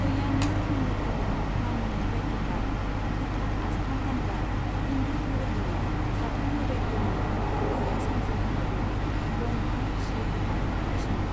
पय्यानुर हिन्दुफोरनि मानिनाय बायदिब्ला, गोथार आस्थाम गानब्ला हिन्दु दोहोरोमनि साथाम मोदाइफोरनि गोहो सोमजिनो हागौ ब्रह्मा, शिव आरो विष्णु।